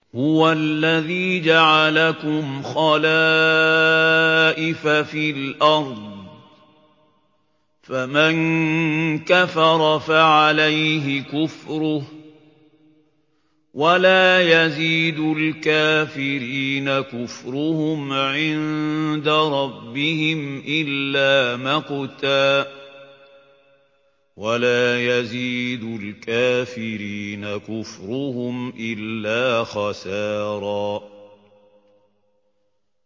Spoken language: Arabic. هُوَ الَّذِي جَعَلَكُمْ خَلَائِفَ فِي الْأَرْضِ ۚ فَمَن كَفَرَ فَعَلَيْهِ كُفْرُهُ ۖ وَلَا يَزِيدُ الْكَافِرِينَ كُفْرُهُمْ عِندَ رَبِّهِمْ إِلَّا مَقْتًا ۖ وَلَا يَزِيدُ الْكَافِرِينَ كُفْرُهُمْ إِلَّا خَسَارًا